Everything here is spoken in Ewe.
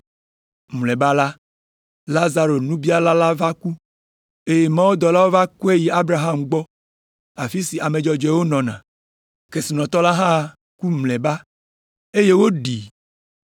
“Mlɔeba la, Lazaro nubiala la va ku, eye mawudɔlawo va kɔe yi Abraham gbɔ afi si ame dzɔdzɔewo nɔna. Kesinɔtɔ la hã ku mlɔeba, eye woɖii.